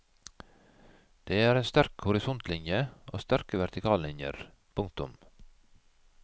Det er en sterk horisontlinje og sterke vertikallinjer. punktum